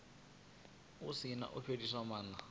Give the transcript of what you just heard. si na u fhelisa maana